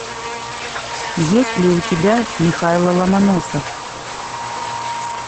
есть ли у тебя михайло ломоносов